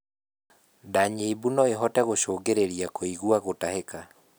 Ndaa nyimbu noĩhote gũcũngĩrĩrĩa kũigua gũtahika